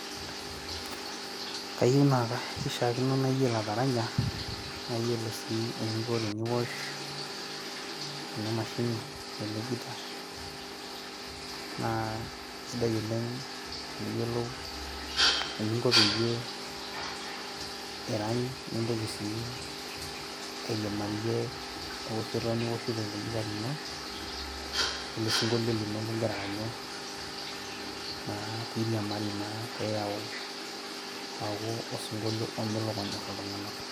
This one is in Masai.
Kayieu naa ka kishiakino naa kayiolo ataranya ,nayiolosii eninko teniosh ena mashini ashu ele guitar naa kisidai oleng teniyiolou eninko peyie irany ,nintoki sii airimarie eoshoto nioshito ilo guitar lino, we ele sinkolio lino lingira aranyu naa piriamari naa peyau osinkolio omelok onyor iltunganak.